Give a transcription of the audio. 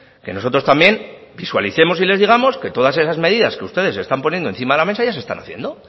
que nosotros también visualicemos y les digamos que todas esas medidas que ustedes están poniendo encima de la mesa ya se están haciendo